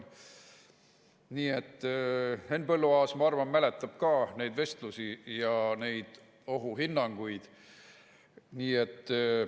Ma arvan, et Henn Põlluaas mäletab ka neid vestlusi ja neid ohuhinnanguid.